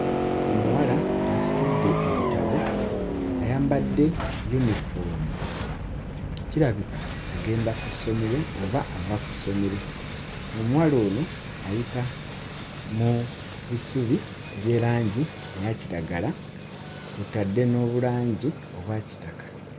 Omuwala asitudde ebitabo ayambadde yunifoomu, kirabika agenda ku ssomero oba ava ku ssomero, omuwala ono ayita mu bisubi ebye langi eya kiragala kw'otadde n'obulangi obwa kitaka.